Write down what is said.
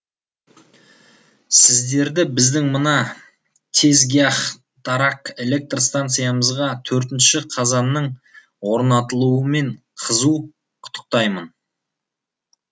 сіздерді біздің мына тезгяхтараг электр станциямызға төртінші қазанның орнатылуымен қызу құттықтаймын